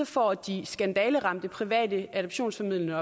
får de skandaleramte private adoptionsformidlende